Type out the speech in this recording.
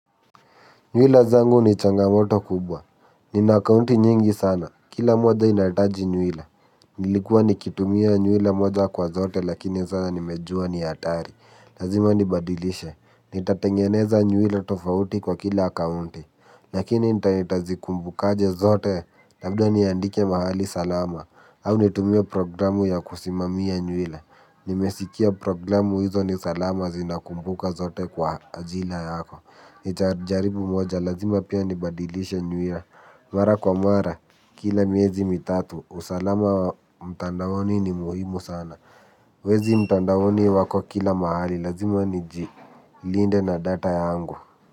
Mila zangu ni changamoto kubwa. Nina kaunti nyingi sana. Kila moja inahitaji nywila. Nilikuwa nikitumia nywila moja kwa zote lakini sasa nimejua ni hatari. Lazima nibadilishe. Nitatengeneza nywila tofauti kwa kila akaunti. Lakini nitazikumbukaje zote labda niandike mahali salama. Au nitumia programu ya kusimamia nywila. Nimesikia programu hizo ni salama zinakumbuka zote kwa ajila yako. Nitajaribu moja, lazima pia nibadilishe nywila mara kwa mara, kila miezi mitatu usalama wa mtandaoni ni muhimu sana. Wezi mtandaoni wako kila mahali, lazima niji linde na data yangu.